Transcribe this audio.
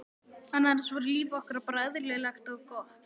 annars var líf okkar bara eðlilegt og gott.